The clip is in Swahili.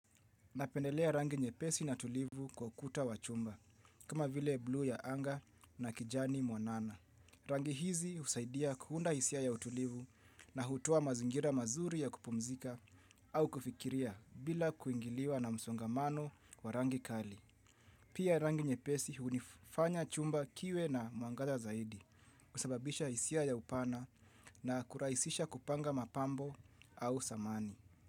Napendelea rangi nyepesi na tulivu kwa ukuta wa chumba, kama vile bluu ya anga na kijani mwanana. Rangi hizi husaidia kuunda hisia ya utulivu na hutoa mazingira mazuri ya kupumzika au kufikiria bila kuingiliwa na msongamano wa rangi kali. Pia rangi nyepesi hufanya chumba kiwe na mwangaza zaidi kusababisha hisia ya upana na kurahisisha kupanga mapambo au samani.